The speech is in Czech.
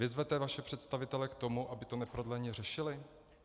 Vyzvete vaše představitele k tomu, aby to neprodleně řešili?